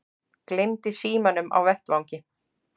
Gleymdi símanum á vettvangi